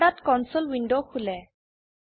পর্দাত console window খোলে